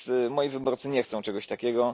Moi wyborcy nie chcą czegoś takiego.